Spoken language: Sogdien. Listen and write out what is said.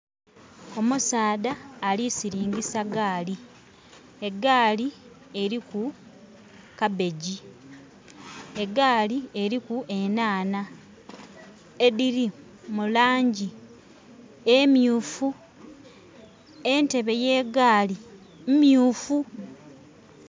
Omusaadha alisiringisa gaali. Egaali eriku kabeji. Egaali eriku enhaanha ediri mulangi emyufu. Entebe ye gaali myufu